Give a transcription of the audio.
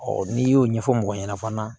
n'i y'o ɲɛfɔ mɔgɔ ɲana fana